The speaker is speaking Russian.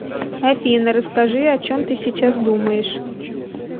афина расскажи о чем ты сейчас думаешь